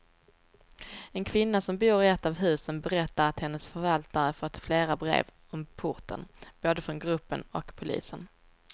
En kvinna som bor i ett av husen berättar att hennes förvaltare fått flera brev om porten, både från gruppen och polisen.